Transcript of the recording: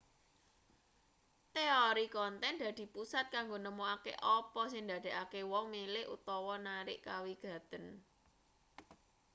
teori konten dadi pusat kanggo nemokake apa sing ndadekake wong milih utawa narik kawigaten